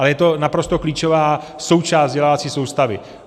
Ale je to naprosto klíčová součást vzdělávací soustavy.